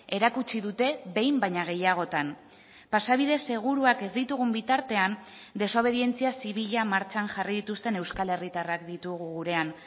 erakutsi dute behin baino gehiagotan pasabide seguruak ez ditugun bitartean desobedientzia zibila martxan jarri dituzten euskal herritarrak ditugu gurean